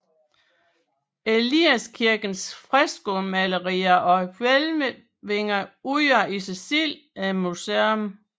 Eliaskirkens freskomalerier og hvælvinger udgør i sig selv et museum